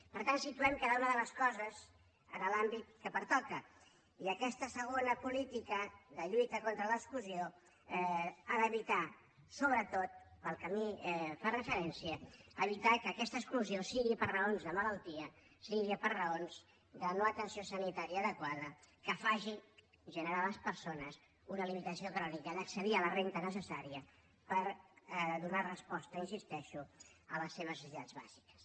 per tant situem cada una de les coses en l’àmbit que pertoca i aquesta segona política de lluita contra l’exclusió ha d’evitar sobretot pel que a mi fa referència que aquesta exclusió sigui per raons de malaltia sigui per raons de no atenció sanitària adequada que faci generar a les persones una limitació crònica d’accedir a la renda necessària per donar resposta hi insisteixo a les seves necessitats bàsiques